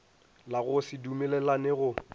la go se dumelelane go